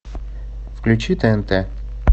включи тнт